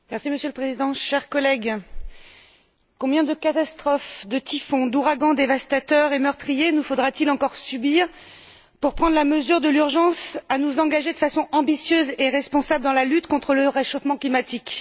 Monsieur le Président, chers collègues, combien de catastrophes, de typhons, d'ouragans dévastateurs et meurtriers nous faudra t il encore subir pour prendre la mesure de l'urgence à nous engager, de façon ambitieuse et responsable, dans la lutte contre le réchauffement climatique?